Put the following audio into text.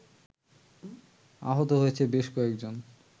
আহত হয়েছেন বেশ কয়েকজন